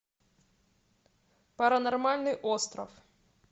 паранормальный остров